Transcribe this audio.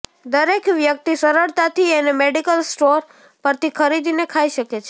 દરેક વ્યક્તિ સરળતાથી એને મેડિકલ સ્ટોર પરથી ખરીદીને ખાઈ શકે છે